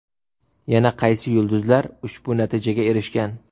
Yana qaysi yulduzlar ushbu natijaga erishgan?.